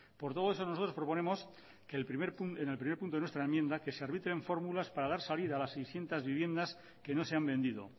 por todo eso nosotros proponemos que en el primer punto de nuestra enmienda que se arbitren fórmulas para dar salida a las seiscientos viviendas que no se han vendido